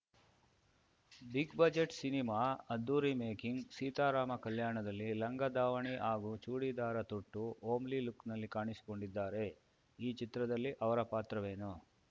big budget cinema ಅದ್ಧೂರಿ making ಸೀತಾರಾಮ ಕಲ್ಯಾಣದಲ್ಲಿ ಲಂಗ ದಾವಣಿ ಹಾಗೂ ಚೂಡಿದಾರ ತೊಟ್ಟು ಹೋಮ್ಲಿ ಲುಕ್‌ನಲ್ಲಿ ಕಾಣಿಸಿಕೊಂಡಿದ್ದಾರೆ ಈ ಚಿತ್ರದಲ್ಲಿ ಅವರ ಪಾತ್ರವೇನು